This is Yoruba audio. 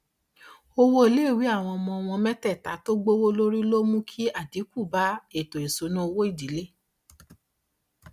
owó iléèwé àwọn ọmọ wọn mẹtẹta tí ó gbówó lórí ló mú kí àdínkù bá ètò ìṣúná owó ìdílé